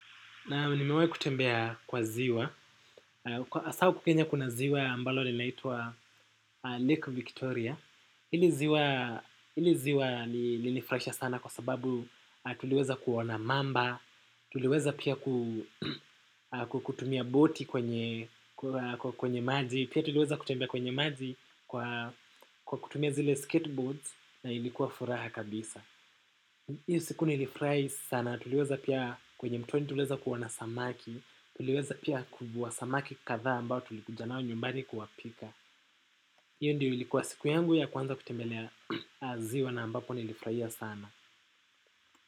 Naam nimewahi kutembea kwa ziwa. Hasa huku kenya kuna ziwa ambalo linaitwa Lake Victoria. Hili ziwa hili ziwa lilinifurahisha sana kwa sababu tuliweza kuona mamba, tuliweza pia kutumia boti kwenye maji, pia tuliweza kutembea kwenye maji kwa kutumia zile skateboards na ilikuwa furaha kabisa. Hiyo siku nilifurahi sana, tuliweza pia kwenye mtoni tuliweza kuona samaki tuliweza pia kuvua samaki kadhaa ambao tulikuja nao nyumbani kuwapika hiyo ndiyo ilikuwa siku yangu ya kwanza kutembelea ziwa na ambapo nilifurahia sana.